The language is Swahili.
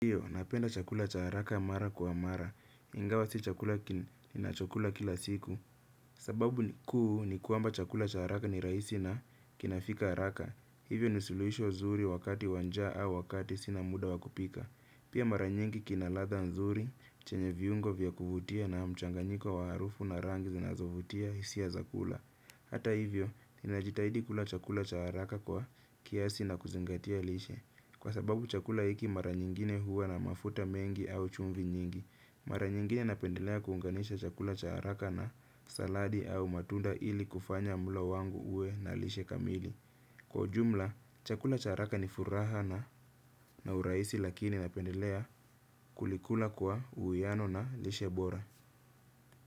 Hiyo, napenda chakula cha haraka mara kwa mara. Ingawa si chakula ninacho kula kila siku. Sababu ni kuu ni kwamba chakula cha haraka ni rahisi na kinafika haraka. Hivyo ni suluhisho zuri wakati wa njaa au wakati sina muda wakupika. Pia mara nyingi kina ladha nzuri, chenye viungo vya kuvutia na mchanganyiko wa harufu na rangi zinazovutia hisia za kula. Hata hivyo, ninajitahidi kula chakula cha haraka kwa kiasi na kuzingatia lishe. Kwa sababu chakula hiki mara nyingine huwa na mafuta mengi au chumvi nyingi. Mara nyingine napendelea kuunganisha chakula cha haraka na saladi au matunda ili kufanya mlo wangu uwe na lishe kamili. Kwa ujumla, chakula cha haraka ni furaha na na urahisi lakini napendelea kulikula kwa uwiano na lishe bora.